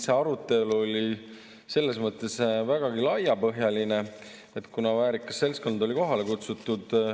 See arutelu oli selles mõttes vägagi laiapõhjaline, kuna väärikas seltskond oli kohale kutsutud.